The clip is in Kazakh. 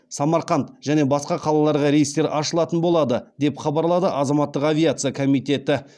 самарқанд және басқа қалаларға рейстер ашылатын болады деп хабарлады азаматтық авиация комитеті